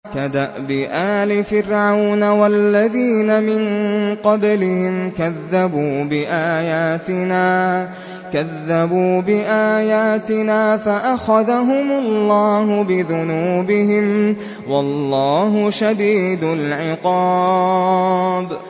كَدَأْبِ آلِ فِرْعَوْنَ وَالَّذِينَ مِن قَبْلِهِمْ ۚ كَذَّبُوا بِآيَاتِنَا فَأَخَذَهُمُ اللَّهُ بِذُنُوبِهِمْ ۗ وَاللَّهُ شَدِيدُ الْعِقَابِ